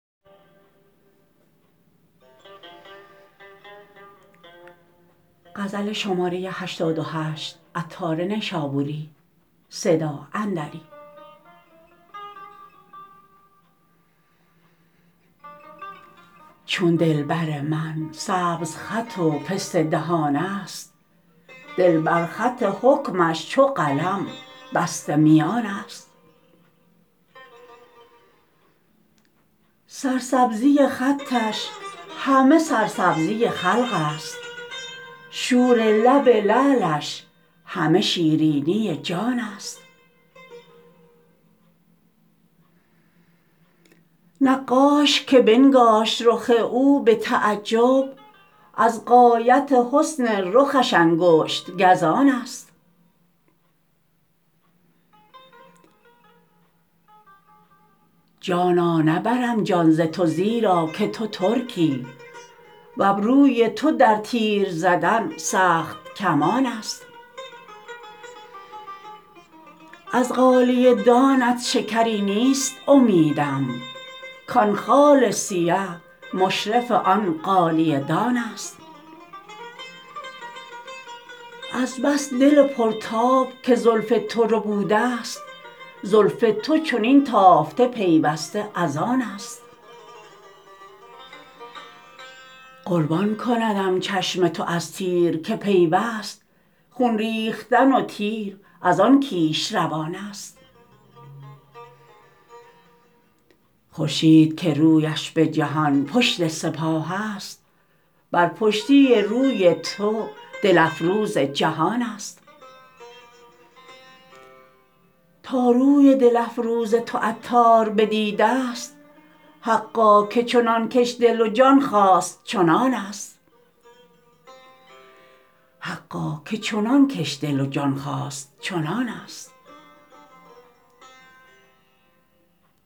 چون دلبر من سبز خط و پسته دهان است دل بر خط حکمش چو قلم بسته میان است سرسبزی خطش همه سرسبزی خلق است شور لب لعلش همه شیرینی جان است نقاش که بنگاشت رخ او به تعجب از غایت حسن رخش انگشت گزان است جانا نبرم جان ز تو زیرا که تو ترکی وابروی تو در تیر زدن سخت کمان است از غالیه دانت شکری نیست امیدم کان خال سیه مشرف آن غالیه دان است از بس دل پرتاب که زلف تو ربوده است زلف تو چنین تافته پیوسته از آن است قربان کندم چشم تو از تیر که پیوست خون ریختن و تیر از آن کیش روان است خورشید که رویش به جهان پشت سپاه است بر پشتی روی تو دل افروز جهان است تا روی دل افروز تو عطار بدیده است حقا که چنان کش دل و جان خواست چنان است